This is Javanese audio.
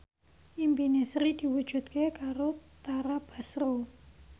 impine Sri diwujudke karo Tara Basro